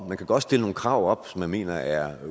man kan godt stille nogle krav op som man mener er